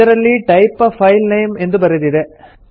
ಇದರಲ್ಲಿ type a file name ಎಂದು ಬರೆದಿದೆ